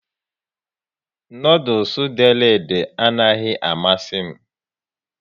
Noodules dere ede a naghị amasị m